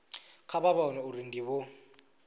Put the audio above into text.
kha vha vhone uri ndivho